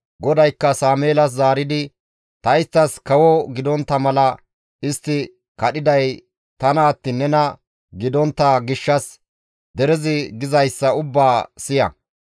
GODAYKKA Sameelas zaaridi, «Ta isttas kawo gidontta mala istti kadhiday tana attiin nena gidontta gishshas derezi gizayssa ubbaa siya.